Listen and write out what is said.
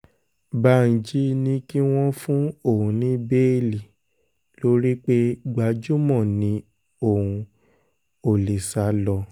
dbanji ní kí wọ́n fún òun ní béèlì lórí pé gbajúmọ̀ ni òun ò lè sá lọ